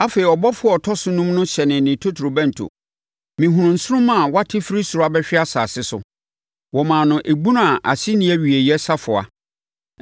Afei ɔbɔfoɔ a ɔtɔ so enum no hyɛnee ne totorobɛnto. Mehunuu nsoromma a wate firi soro abɛhwe asase so. Wɔmaa no ebunu a ase nni awieeɛ safoa.